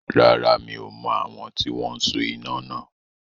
Rárá, mi ò mọ̀ àwọn tí wọn so iná náà.